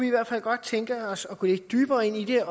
i hvert fald godt tænke os at gå lidt dybere ind i det